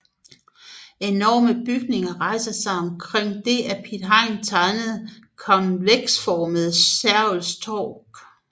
Enorme bygninger rejser sig omkring det af Piet Hein tegnede konveksformede Sergels Torg